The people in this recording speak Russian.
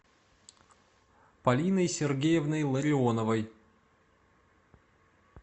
полиной сергеевной ларионовой